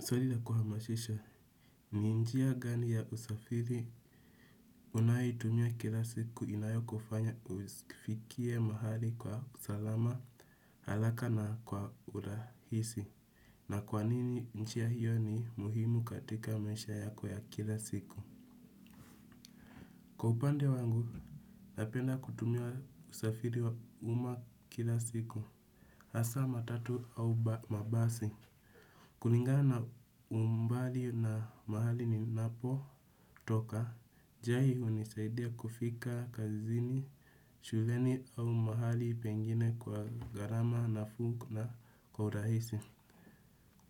Swali la kuhamashisha, ni njia gani ya usafiri unayotumia kila siku inayokufanya ufikie mahali kwa salama haraka na kwa urahisi. Na kwa nini njia hiyo ni muhimu katika maisha yako ya kila siku. Kwa upande wangu, napenda kutumia usafiri wa uma kila siku. Hasa matatu au mabasi, kulingana na umbali na mahali ninapotoka, njia hii hunisaidia kufika kazini, shuleni au mahali pengine kwa gharama nafuu na kwa urahisi.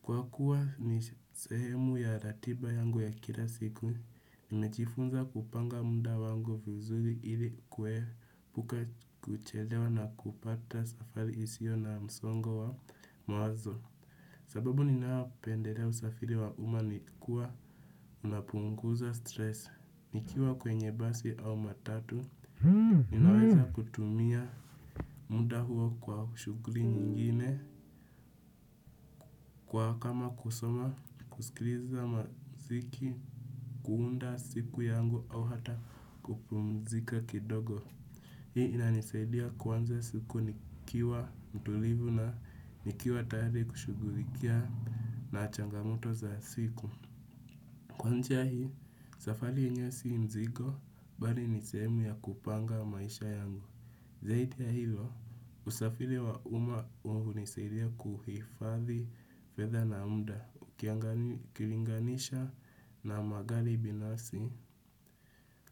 Kwa kuwa ni sehemu ya ratiba yangu ya kila siku, nimejifunza kupanga muda wangu vizuri ili kuepuka kuchelewa na kupata safari isio na msongo wa mawazo. Sababu ninayopendelea usafiri wa umma ni kuwa unapunguza stress. Nikiwa kwenye basi au matatu, ninaweza kutumia muda huo kwa shughuli nyingine, kwa kama kusoma, kusikiliza mziki, kuunda siku yangu au hata kupumzika kidogo. Hii inanisaidia kuanza siku nikiwa mtulivu na nikiwa tayari kushughulikia na changamoto za siku. Kwa njia hii, safari yenyewe si mzigo, bali ni sehemu ya kupanga maisha yangu. Zaidi ya hilo, usafiri wa umma hunisaidia kuhifadhi fedha na mda, ukilinganisha na magari binasi.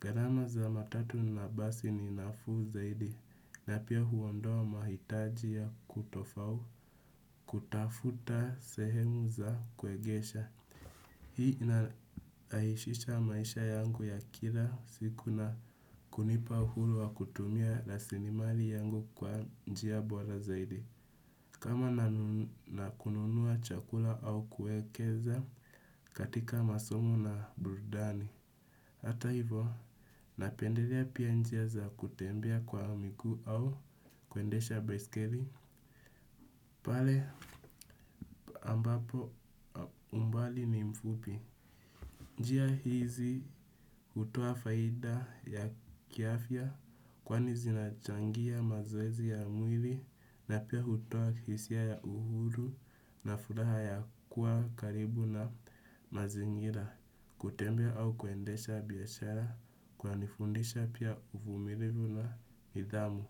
Gharama za matatu na basi ni nafuu zaidi, na pia huondoa mahitaji ya kutofau, kutafuta sehemu za kuegesha. Hii inarahishisha maisha yangu ya kila siku na kunipa uhuru wa kutumia rasilimali yangu kwa njia bora zaidi. Kama nakununua chakula au kuekeza katika masomo na burudani. Hata hivo, napendelea pia njia za kutembea kwa miguu au kuendesha baiskeli. Pale ambapo umbali ni mfupi. Njia hizi hutoa faida ya kiafya kwani zinachangia mazoezi ya mwili na pia hutoa hisia ya uhuru na furaha ya kuwa karibu na mazingira kutembea au kuendesha biashara kunanifundisha pia uvumilivu na nidhamu.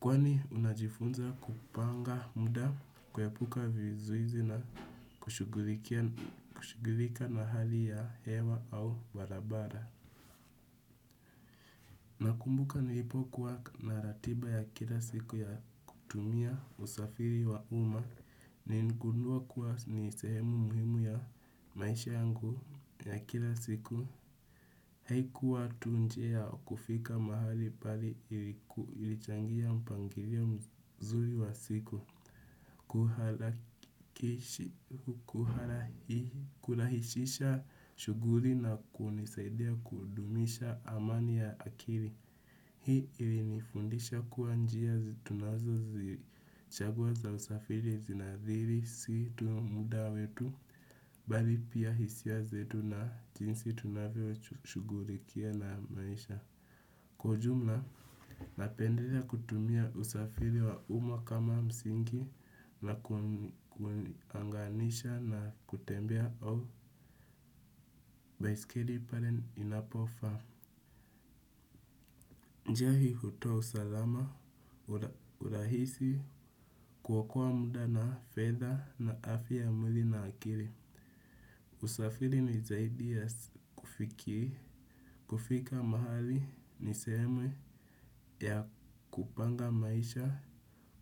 Kwani unajifunza kupanga muda kuepuka vizuizi na kushughulika na hali ya hewa au barabara. Nakumbuka nilipokuwa na ratiba ya kila siku ya kutumia usafiri wa umma. Niligundua kuwa ni sehemu muhimu ya maisha yangu ya kila siku. Haikuwa tu njia ya kufika mahali bali ilichangia mpangilio mzuri wa siku kurahishisha shughuli na kunisaidia kudumisha amani ya akili. Hii ilinifundisha kuwa njia tunazozichagua za usafiri zinaadhiri si tu muda wetu bali pia hisia zetu na jinsi tunavyoshugulikia na maisha. Kwa ujumla, napendelea kutumia usafiri wa umma kama msingi na kuunganisha na kutembea au baiskeli pale inapofaa. Njia hii hutoa usalama, urahisi kuokoa muda na fedha na afya ya mwili na akili. Usafiri ni zaidi ya kufiki, kufika mahali, ni sehemu ya kupanga maisha,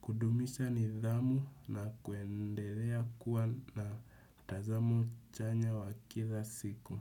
kudumisha nidhamu na kuendelea kuwa na tazamo chanya wa kila siku.